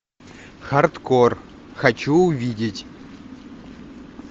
хардкор хочу увидеть